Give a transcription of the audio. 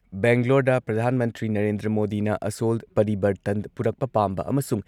ꯕꯦꯡꯒ꯭ꯂꯣꯔꯗ ꯄ꯭ꯔꯙꯥꯟ ꯃꯟꯇ꯭ꯔꯤ ꯅꯔꯦꯟꯗ꯭ꯔ ꯃꯣꯗꯤꯅ ꯑꯁꯣꯜ ꯄꯔꯤꯕꯔꯇꯟ ꯄꯨꯔꯛꯄ ꯄꯥꯝꯕ ꯑꯃꯁꯨꯡ